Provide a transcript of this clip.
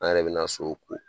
An yɛrɛ be na so ko.